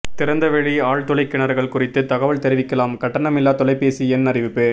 திறந்தவெளி ஆழ்துளைக் கிணறுகள் குறித்து தகவல் தெரிவிக்கலாம்கட்டணமில்லா தொலைபேசி எண் அறிவிப்பு